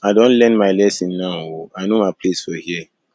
i don learn my lesson now o i know my place for here